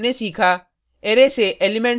इस ट्यूटोरियल में हमनें सीखा